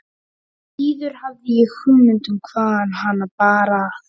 Því síður hafði ég hugmynd um hvaðan hana bar að.